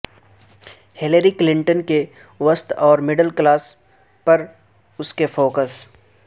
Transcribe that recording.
Hillary Clinton کے وسط اور مڈل کلاس پر اس کے فوکس